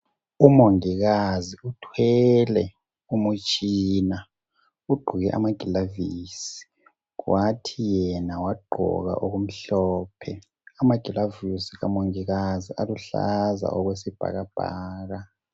Umongikazi uthwele umtshina, ugqoke amagilavisi kwathi yena wagqoka okumhlophe. Amagilavisi kamongikazi aluhlaza okwesibhakabhaka.